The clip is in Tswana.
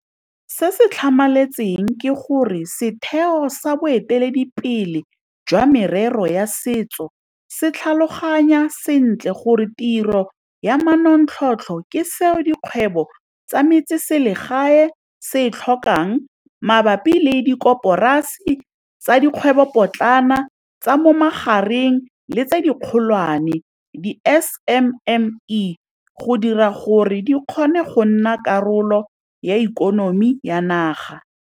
Se se tlhamaletseng ke gore setheo sa boeteledipele jwa merero ya setso se tlhaloganya sentle gore tiro ya manontlhotlho ke seo dikgwebo tsa metseselegae se e tlhokang mabapi le dikoporasi tsa dikgwebopotlana, tsa mo magareng le tse dikgolwane di-SMME, go dira gore di kgone go nna karolo ya ikonomi ya naga.